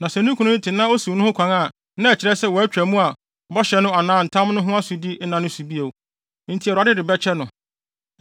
Na sɛ ne kunu no te na osiw no ho kwan a na ɛkyerɛ sɛ watwa mu a bɔhyɛ no anaa ntam no ho asodi nna ne so bio, enti Awurade de ne ho bɛkyɛ no.